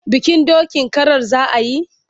Bikin dokin karar za a yi?